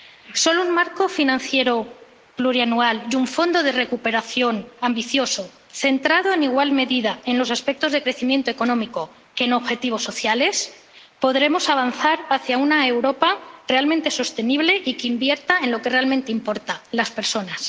Solo con un marco financiero plurianual y un fondo de recuperación ambicioso centrado en igual medida, tanto en los aspectos de crecimiento económico como en objetivos sociales, podremos avanzar hacia una Europa realmente sostenible que invierta en lo que realmente importa las personas.